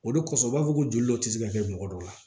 O de kosɔn u b'a fɔ ko joli dɔ tɛ se ka kɛ mɔgɔ dɔw la